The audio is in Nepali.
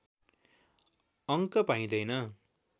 अङ्क पाइँदैन